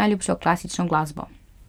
najljubšo klasično glasbo.